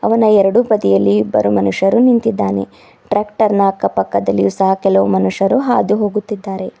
ನನ್ನ ಎರಡು ಪ್ರತಿಯಲ್ಲಿ ಇಬ್ಬರು ಮನುಷ್ಯರು ನಿಂತಿದ್ದಾನೆ ಟ್ರ್ಯಾಕ್ಟರ್ ನ ಅಕ್ಕ ಪಕ್ಕದಲ್ಲಿಯು ಸಹ ಕೆಲವು ಮನುಷ್ಯರು ಹಾದು ಹೋಗುತ್ತಿದ್ದಾರೆ.